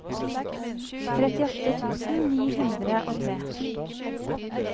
trettiåtte tusen ni hundre og tre